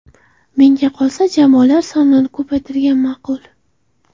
Menga qolsa, jamoalar sonini ko‘paytirgan ma’qul.